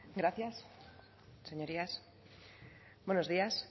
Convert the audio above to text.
gracias señorías buenos días